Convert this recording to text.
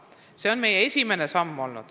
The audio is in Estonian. See oli meie esimene samm.